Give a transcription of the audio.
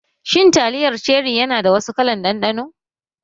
Shin taliyar Cherri yana da wasu kalar ɗanɗano?